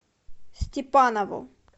степанову